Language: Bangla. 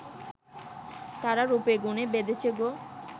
তারা রূপ-গুণে বেঁধেছে গো